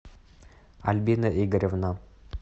альбина игоревна